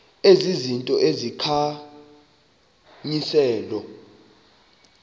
ezi zinto zikhankanyiweyo